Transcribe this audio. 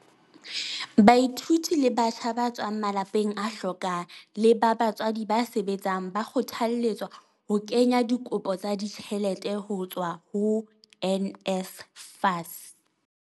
Baithuti le batjha ba tswang malapeng a hlokang le ba batswadi ba sebetsang ba kgothalletswa ho kenya dikopo tsa ditjhelete ho tswa ho NSFAS.